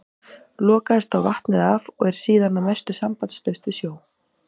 Lokaðist þá vatnið af og er síðan að mestu sambandslaust við sjó.